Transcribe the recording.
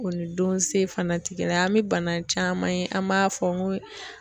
O ni don se fana ti kelen ye, an bɛ bana caman ye an b'a fɔ ko